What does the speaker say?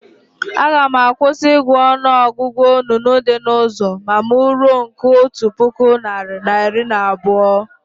Aga m akwụsị ị gụ ọnụ ọgụgụ onunu dị na ụzọ ma mụ ruo nke otu puku narị na iri na abụọ